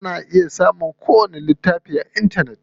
Ana iya samun ko wani littafi a intanet.